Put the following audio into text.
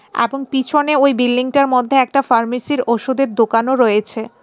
এ্যাবং পিছনে ওই বিল্ডিংটার মধ্যে একটা ফার্মেসির ওষুধের দোকানও রয়েছে.